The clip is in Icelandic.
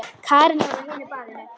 Karen var á hinu baðinu.